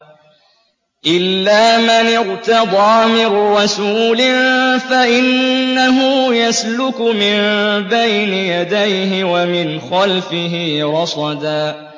إِلَّا مَنِ ارْتَضَىٰ مِن رَّسُولٍ فَإِنَّهُ يَسْلُكُ مِن بَيْنِ يَدَيْهِ وَمِنْ خَلْفِهِ رَصَدًا